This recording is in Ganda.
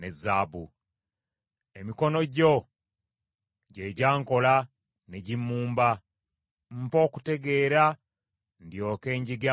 Emikono gyo gye gyankola ne gimmumba, mpa okutegeera ndyoke njige amateeka go.